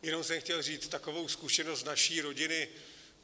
Jenom jsem chtěl říct takovou zkušenost z naší rodiny.